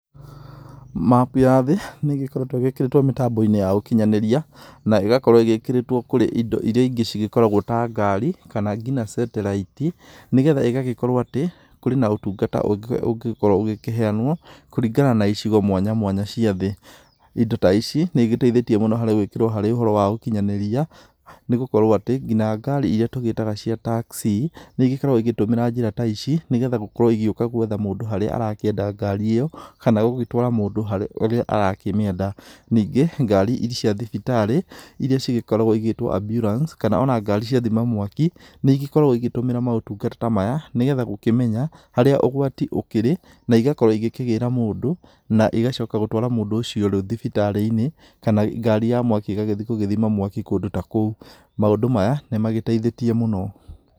Mapu ya thĩ, nĩgĩkoretũo ĩgĩkĩrĩtũo mĩtamboinĩ ya ũkinyanĩria, na ĩgakorũo ĩgĩkĩrĩtũo kũrĩ indo iria ingĩ cigĩkoragũo ta ngari, kana nginya satellite, nĩgetha igagĩkorũo atĩ, kũrĩ na ũtungata ũngĩ, ũngĩkorũo ũgĩkĩheyanũo kũringana na icigo mwanya mwanya cia thĩ. Indo ta ici, nĩigĩteithĩtie mũno harĩ gũĩkĩrũo harĩ ũhoro wa ũkinyanĩria, nĩgũkorũo atĩ, nginya ngari iria tũĩtaga cia taxi, nĩigĩkoragũo igĩtũmĩra njĩra ta ici, nĩgetha gũkorũo igĩũka gwetha mũndũ harĩa arakĩenda ngari ĩyo, kana gũgĩtũara mũndũ harĩa arakĩmĩenda. Ningĩ, ngari cia thibitarĩ iria cigĩkoragũo cigĩtũo ambulance, kana ona ngari cia thima mwaki, nĩigĩkoragũo igĩtũmĩra maũtungata ta maya, nĩgetha gũkĩmenya, harĩa ũgwati ũkĩrĩ, na igakorũo ikĩgĩra mũndũ, na igacoka gũtũara mũndũ ũcio thibitarĩinĩ, kana ngari ya mwaki ĩgagĩthiĩ gũthima mwaki kũndũ ta kũu. maũndũ maya, nĩmagĩteithĩtie mũno.